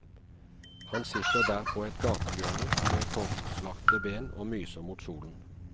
Han sitter der på et gatehjørne med korslagte ben og myser mot solen.